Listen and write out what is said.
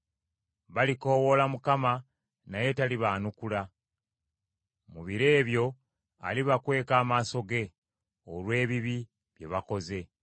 Balikoowoola Mukama , naye talibaanukula. Mu biro ebyo alibakweka amaaso ge olw’ebibi bye bakoze.